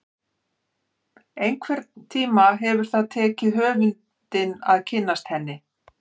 Einhvern tíma hefur það tekið höfundinn að kynnast henni.